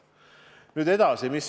Nüüd edasi.